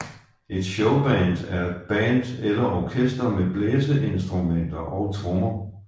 Et Showband er et band eller orkester med blæseinstrumenter og trommer